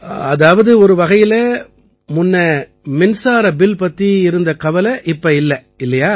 அதாவது ஒரு வகையில முன்ன மின்சார பில் பத்தி இருந்த கவலை இப்ப இல்லை இல்லையா